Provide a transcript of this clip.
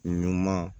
Ɲuman